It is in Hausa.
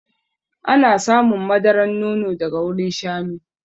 Ana samun madaran nono daga wurin shanu.